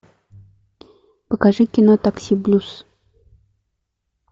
покажи кино такси блюз